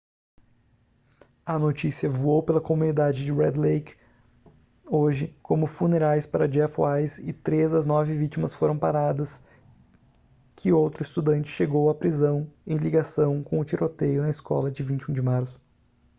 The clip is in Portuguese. a notícia voou pela comunidade de red lake hoje como funerais para jeff weise e três das nove vítimas foram paradas que outro estudante chegou à prisão em ligação com o tiroteio na escola de 21 de março